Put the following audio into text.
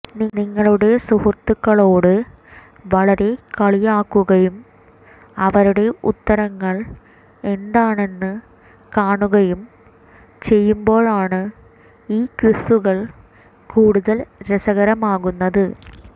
നിങ്ങളുടെ സുഹൃത്തുക്കളോട് വളരെ കളിയാക്കുകയും അവരുടെ ഉത്തരങ്ങൾ എന്താണെന്ന് കാണുകയും ചെയ്യുമ്പോഴാണ് ഈ ക്വിസുകൾ കൂടുതൽ രസകരമാക്കുന്നത്